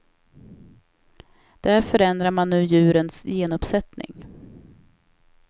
Där förändrar man nu djurens genuppsättning.